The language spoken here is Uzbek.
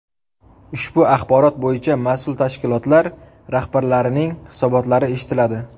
Ushbu axborot bo‘yicha mas’ul tashkilotlar rahbarlarining hisobotlari eshitiladi.